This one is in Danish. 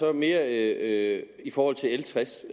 er mere i forhold til l tres